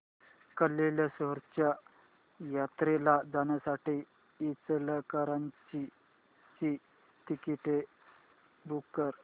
कल्लेश्वराच्या जत्रेला जाण्यासाठी इचलकरंजी ची तिकिटे बुक कर